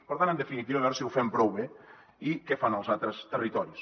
per tant en definitiva veure si ho fem prou bé i què fan els altres territoris